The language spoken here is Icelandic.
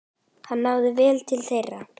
Hann náði vel til þeirra.